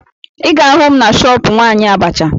Ị ga-ahụ m na shọọpụ nwaanyị abacha